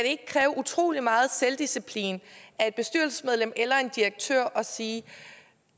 ikke kræve utrolig meget selvdisciplin af et bestyrelsesmedlem eller en direktør at sige